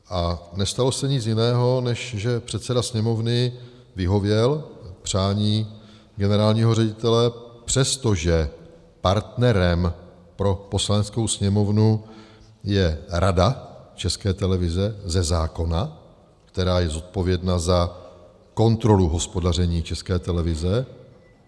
A nestalo se nic jiného, než že předseda Sněmovny vyhověl přání generálního ředitele, přestože partnerem pro Poslaneckou sněmovnu je Rada České televize ze zákona, která je zodpovědná za kontrolu hospodaření České televize.